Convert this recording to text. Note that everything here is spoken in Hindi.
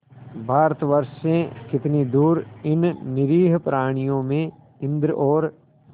भारतवर्ष से कितनी दूर इन निरीह प्राणियों में इंद्र और